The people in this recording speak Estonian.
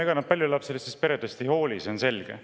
Ega nad paljulapselistest peredest ei hooli, see on selge.